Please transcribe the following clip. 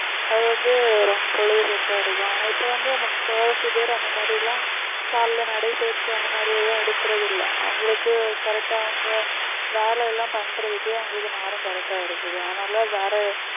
அது வந்து ரொம்ப பொழுதுபோக்கா இருக்கும் ஆனா இப்ப வந்து முக்காவாசி பேர் அந்த மாதிரி எல்லாம் கால்ல நடைபயிற்சிஅந்த மாதிரி எதுவும் எடுக்கிறது இல்லை அவங்களுக்கு correct ஆ அவங்க வேலை எல்லாம் பண்றதுக்கே அவங்களுக்கு நேரம் correct ஆ இருக்குது அதனால வேற